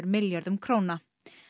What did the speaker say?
milljörðum króna